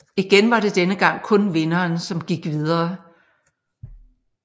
Igen var det denne gang kun vinderen som gik videre